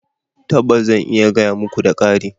Tabbas! zan iya gaya muka, da ƙari